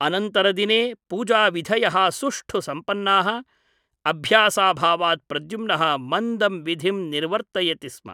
अनन्तरदिने पूजाविधयः सुष्ठु सम्पन्नाः । अभ्यासाभावात् प्रद्युम्नः मन्दं विधिं निर्वर्तयति स्म ।